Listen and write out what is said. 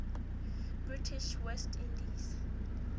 british west indies